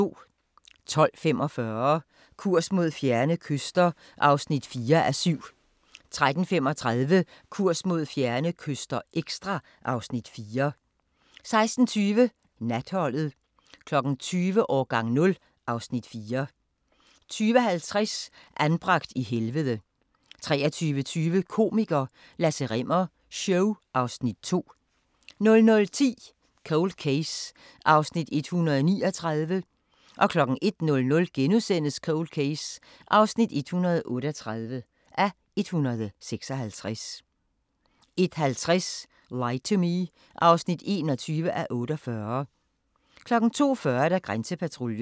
12:45: Kurs mod fjerne kyster (4:7) 13:35: Kurs mod fjerne kyster – ekstra (Afs. 4) 16:20: Natholdet 20:00: Årgang 0 (Afs. 4) 20:50: Anbragt i helvede 23:20: Komiker – Lasse Rimmer show (Afs. 2) 00:10: Cold Case (139:156) 01:00: Cold Case (138:156)* 01:50: Lie to Me (21:48) 02:40: Grænsepatruljen